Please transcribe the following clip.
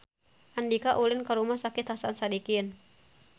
Andika ulin ka Rumah Sakit Hasan Sadikin